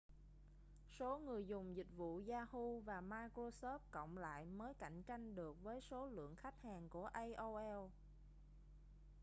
số người dùng dịch vụ yahoo và microsoft cộng lại mới cạnh tranh được với số lượng khách hàng của aol